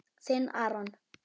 Þinn, Aron.